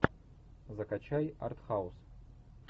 закачай артхаус